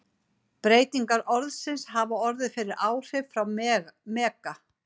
Breytingar orðsins hafa orðið fyrir áhrif frá mega.